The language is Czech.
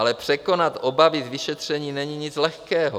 Ale překonat obavy z vyšetření není nic lehkého.